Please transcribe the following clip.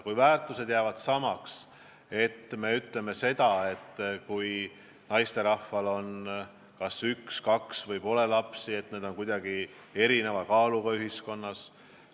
Kui ka need väärtused jäävad samaks, et öeldakse, et naisterahvad, kellel on kas üks või kaks last, ja kellel pole lapsi, on ühiskonnas kuidagi erineva kaaluga, siis ma ei saa koostööd teha.